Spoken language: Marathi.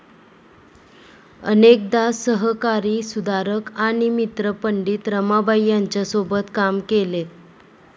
अनेकदा सहकारी सुधारक आणि मित्र पंडित रमाबाई यांच्यासोबत काम केले